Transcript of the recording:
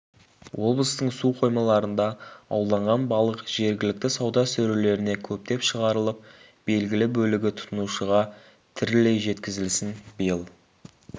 облыстың су қоймаларында ауланған балық жергілікті сауда сөрелеріне көптеп шығарылып белгілі бөлігі тұтынушыға тірілей жеткізілсін биыл